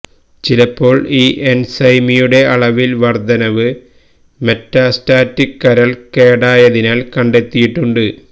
ചിലപ്പോൾ ഈ എൻസൈമിയുടെ അളവിൽ വർദ്ധനവ് മെറ്റാസ്റ്റാറ്റിക് കരൾ കേടായതിനാൽ കണ്ടെത്തിയിട്ടുണ്ട്